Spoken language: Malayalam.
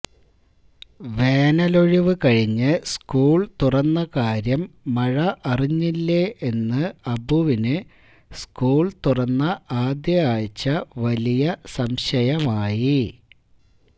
വേനലൊഴിവ് കഴിഞ്ഞ് സ്കൂള് തുറന്ന കാര്യം മഴ അറിഞ്ഞില്ലേ എന്ന് അബുവിന് സ്കൂൾ തുറന്ന ആദ്യ ആഴ്ച വലിയ സംശയമായി